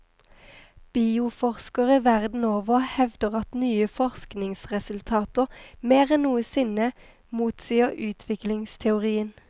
Bioforskere verden over hevder at nye forskningsresultater mer enn noensinne motsier utviklingsteorien.